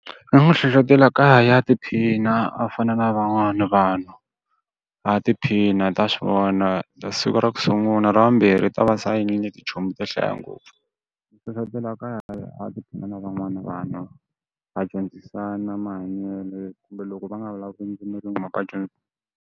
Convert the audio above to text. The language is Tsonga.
Ni n'wi hlohletela ku a ya a ya tiphina a fana na van'wana vanhu. A tiphina u ta swi vona ta siku ra ku sungula ra vumbirhi i ta va se a tichomi to hlaya ngopfu. Hlohletela ku a ya a ya tiphina na van'wana vanhu, va dyondzisana mahanyelo kumbe loko va nga vulavuli ndzimi yin'we .